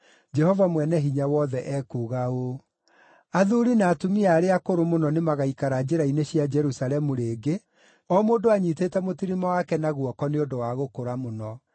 Jehova Mwene-Hinya-Wothe ekuuga ũũ: “Athuuri na atumia arĩa akũrũ mũno nĩmagaikara njĩra-inĩ cia Jerusalemu rĩngĩ, o mũndũ anyiitĩte mũtirima wake na guoko nĩ ũndũ wa gũkũra mũno.